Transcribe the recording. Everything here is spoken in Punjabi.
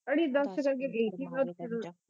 ਅੜੀਏ ਦਸ ਫਿਰ ਅੱਗੇ